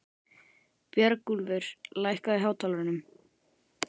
Björgúlfur, lækkaðu í hátalaranum.